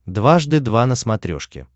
дважды два на смотрешке